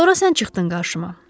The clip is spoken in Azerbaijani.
Sonra sən çıxdın qarşıma.